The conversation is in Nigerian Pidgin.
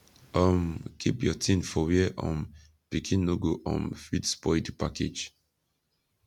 um keep your ting for where um pikin no go um fit spoil di package